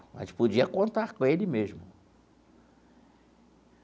A gente podia contar com ele mesmo.